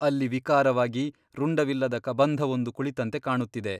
ಅಲ್ಲಿ ವಿಕಾರವಾಗಿ ರುಂಡವಿಲ್ಲದ ಕಬಂಧವೊಂದು ಕುಳಿತಂತೆ ಕಾಣುತ್ತಿದೆ.